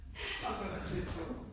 Ej men det var også lidt sjovt